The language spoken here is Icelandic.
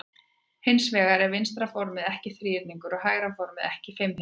Hins vegar er vinstra formið ekki þríhyrningur og hægra formið er ekki fimmhyrningur.